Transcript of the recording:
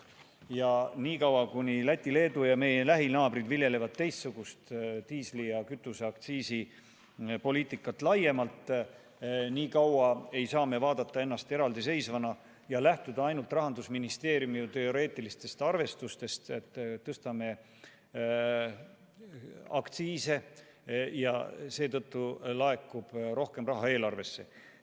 Ja niikaua kuni Läti, Leedu ja teised lähinaabrid viljelevad teistsugust diisli- ja kütuseaktsiisi poliitikat, ei saa me vaadata ennast eraldiseisvana ja lähtuda ainult Rahandusministeeriumi teoreetilistest arvestustest, et tõstame aktsiise ja seetõttu laekub rohkem raha eelarvesse.